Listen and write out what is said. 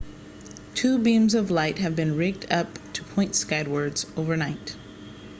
two beams of light have been rigged up to point skywards overnight